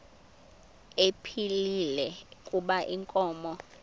ephilile kuba inkomo